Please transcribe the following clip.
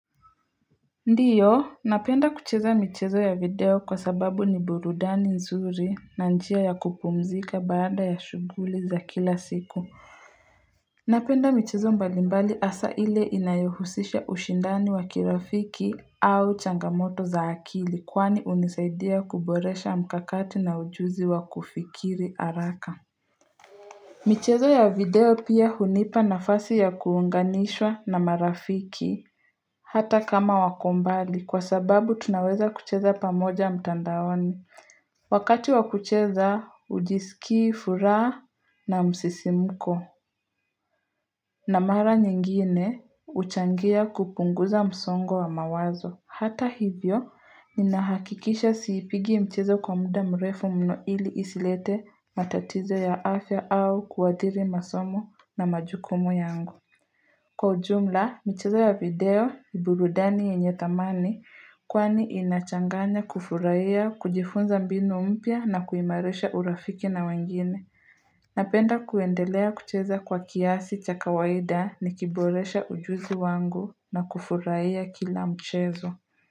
Ndiyo, napenda kucheza michezo ya video kwa sababu ni burudani nzuri na njia ya kupumzika baada ya shuguli za kila siku. Napenda michezo mbalimbali hasa ile inayohusisha ushindano wa kirafiki au changamoto za akili kwani hunisaidia kuboresha mkakati na ujuzi wa kufikiri haraka. Michezo ya video pia hunipa nafasi ya kuunganishwa na marafiki hata kama wako mbali kwa sababu tunaweza kucheza pamoja mtandaoni. Wakati wa kucheza hujisiki ifuraha na msisimuko na mara nyingine huchangia kupunguza msongo wa mawazo. Hata hivyo, ninahakikisha siipigi mchezo kwa muda mrefu mno ili isilete matatizo ya afya au kuathiri masomo na majukumu yangu. Kwa ujumla, mchezo ya video, ni burudani yenye dhamani, kwani inachanganya kufurahia, kujifunza mbinu mpya na kuimarisha urafiki na wengine. Napenda kuendelea kucheza kwa kiasi cha kawaida ni kiboresha ujuzi wangu na kufurahia kila mchezo.